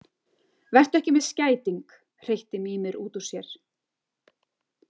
Vertu ekki með skæting, hreytti Mímir út úr sér.